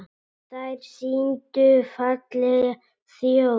Þær sýndu fallega þjóð.